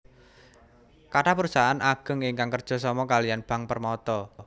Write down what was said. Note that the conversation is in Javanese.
Kathah perusahaan ageng ingkang kerja sama kaliyan Bank Permata